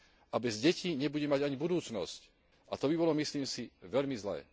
a bez detí nebude mať ani budúcnosť a to by bolo, myslím si, veľmi zlé.